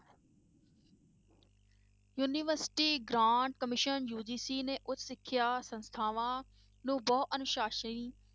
University grant commission UGC ਨੇ ਉੱਚ ਸਿੱਖਿਆ ਸੰਸਥਾਵਂ ਨੂੰ ਬਹੁ ਅਨੁਸਾਸਨੀ